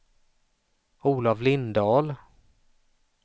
Olov Lindahl